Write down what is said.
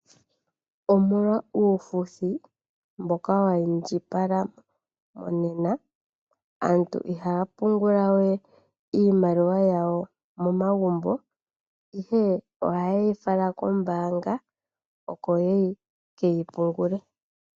Omolwa uufuthi mboka wa iindjipala monena aantu ihaya pungula we iimaiwa yawo momagumbo ihe ohaye yi fala kombaanga oko ya ka pungule.